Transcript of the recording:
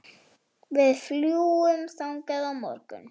Við fljúgum þangað á morgun.